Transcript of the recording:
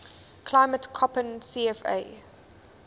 climate koppen cfa